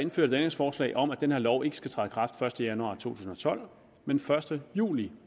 et ændringsforslag om at den her lov ikke skal træde i kraft første januar to tusind og tolv men første juli